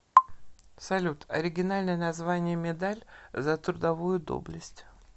салют оригинальное название медаль за трудовую доблесть